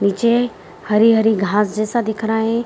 नीचे हरी-हरी घास जैसा दिख रहे हैं।